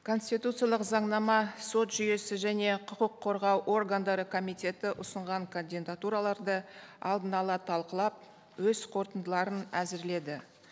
конституциялық заңнама сот жүйесі және құқық қорғау органдары комитеті ұсынған кандидатураларды алдын ала талқылап өз қорытындыларын әзірледі